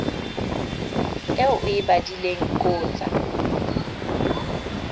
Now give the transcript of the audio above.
eo o e badileng qotsa